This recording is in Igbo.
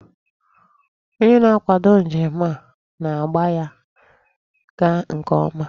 Onye na-akwado njem, a na-agba ya gaa nke ọma.